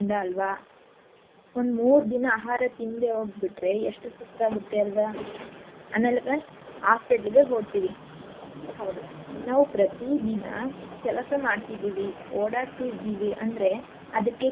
ಅಲ್ವಾ ಒಂದು ಮೂರ್ ದಿನ ಆಹಾರ ತಿಂದೇ ಹೋಗ್ಬಿಟ್ರೆ ಎಷ್ಟು ಸುಸ್ತ್ ಆಗತ್ತೆ ಅಲ್ವಾ ಆಮೇಲೆ hospital ಗೆ ಹೋಡ್ತಿವಿ ಹೌದು ನಾವ್ ಪ್ರತಿ ದಿನ ಕೆಲಸ ಮಾಡ್ತಿದಿವಿ ಓಡಾಡ್ತಿದೀವಿ ಅಂದ್ರೆ ಅದಕ್ಕೆ.